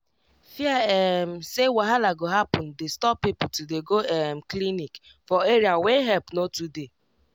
fear um say wahala go happen dey stop people to dey go um clinic for area wey help no to dey.